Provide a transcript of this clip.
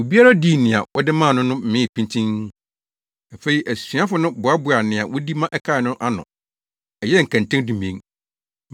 Obiara dii nea wɔde maa no no mee pintinn. Afei asuafo no boaboaa nea wodi ma ɛkae no ano no, ɛyɛɛ nkɛntɛn dumien.